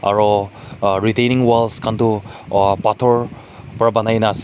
aro a retaining walls khan tu a pathor para banai na ase.